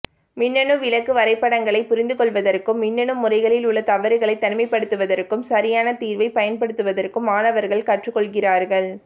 மின்னணு விளக்க வரைபடங்களைப் புரிந்துகொள்வதற்கும் மின்னணு முறைகளில் உள்ள தவறுகளை தனிமைப்படுத்துவதற்கும் சரியான தீர்வைப் பயன்படுத்துவதற்கும் மாணவர்கள் கற்றுக்கொள்கிறார்கள்